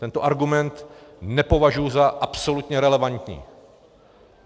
Tento argument nepovažuji za absolutně relevantní!